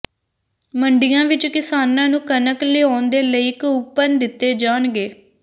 ਮੰਡੀਆਂ ਵਿੱਚ ਕਿਸਾਨਾਂ ਨੂੰ ਕਣਕ ਲਿਆਉਣ ਦੇ ਲਈ ਕੂਪਨ ਦਿੱਤੇ ਜਾਣਗੇ